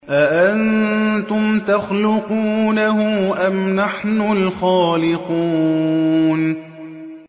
أَأَنتُمْ تَخْلُقُونَهُ أَمْ نَحْنُ الْخَالِقُونَ